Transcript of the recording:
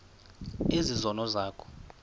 ezi zono zakho